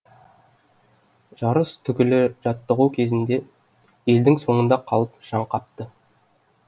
жарыс түгілі жаттығу кезінде елдің соңында қалып шаң қапты